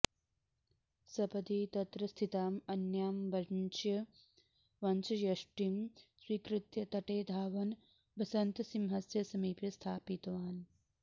सपदि तत्र स्थितां अन्यां वंशयष्टिं स्वीकृत्य तटे धावन् बसन्तसिंहस्य समीपे स्थापितवान्